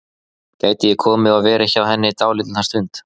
Gæti ég komið og verið hjá henni dálitla stund?